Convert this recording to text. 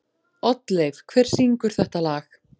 Oddleif, hver syngur þetta lag?